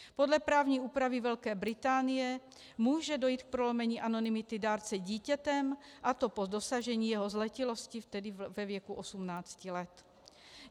Podle právní úpravy Velké Británie může dojít k prolomení anonymity dárce dítětem, a to po dosažení jeho zletilosti, tedy ve věku 18 let.